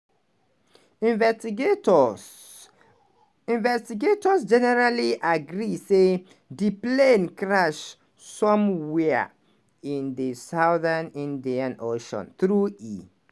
investigators generally agree say di plane crash somwia in di southern indian ocean - though e